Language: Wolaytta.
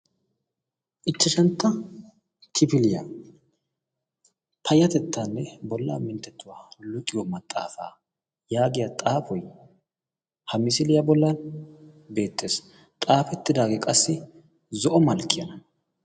ichchashantta kifiliyaa payatettaanne bollaa minttettuwaa luxiyo maxaafaa' yaagiya xaafoi ha misiliyaa bollaa beetees xaafettidaagee qassi zo7o malkkiyana